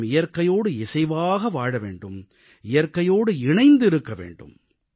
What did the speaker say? நாம் இயற்கையோடு இசைவாக வாழ வேண்டும் இயற்கையோடு இணைந்து இருக்க வேண்டும்